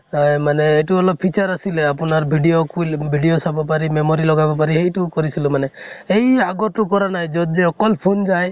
আই মানে এইটো অলপ feature আছিলে আপোনাৰ video কুইল video চাব পাৰি, memory লগাব পাৰি। সেইটো কৰিছলো মানে। সেই আগৰ টো কৰা নাই যʼত যে অকল phone যায়।